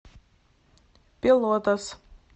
пелотас